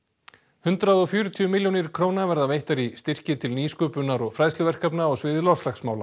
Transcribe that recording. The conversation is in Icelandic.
hundrað og fjörutíu milljónir króna verða veittar í styrki til nýsköpunar og fræðsluverkefna á sviði loftslagsmála